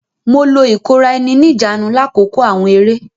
Mo lo ikora-eni-nijaanu lakoko awọn eré.